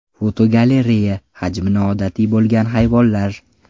Fotogalereya: Hajmi noodatiy bo‘lgan hayvonlar.